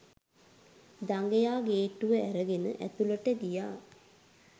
දඟයා ගේට්ටුව ඇරගෙන ඇතුලට ගියා.